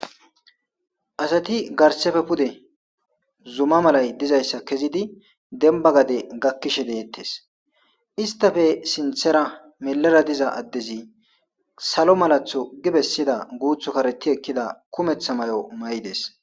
Asati garsra pude zuma malay dizaysa kezidi denba gade gakishe detes istape sinthera milera diza adez salo malatho gi besida guthi kareti ekida kumetha mayo mayides